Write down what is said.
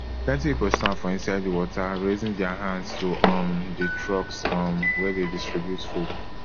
plenty pipo stand for inside di water raising dia hands to um di trucks um wey dey distribute food